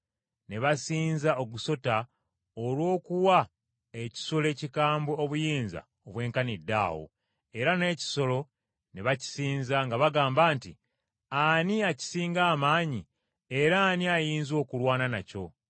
Ne basinza ogusota olw’okuwa ekisolo ekikambwe obuyinza obwenkaniddaawo, era n’ekisolo ne bakisinza, nga bagamba nti, “Ani akisinga amaanyi era ani ayinza okulwana nakyo?”